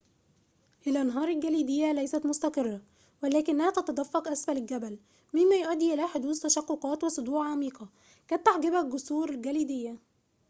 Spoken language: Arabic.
الأنهار الجليدية ليست مستقرة ولكنها تتدفق أسفل الجبل مما يؤدي إلى حدوث تشققات وصدوع عميقة قد تحجبها الجسور الجليدية